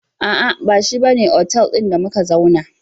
Aa, bashi bane otal ɗin da muka zauna ba